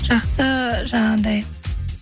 жақсы жаңағындай